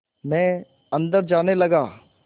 मैं अंदर जाने लगा